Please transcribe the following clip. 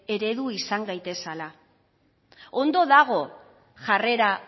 eredu izan gaitezala ondo dago jarrera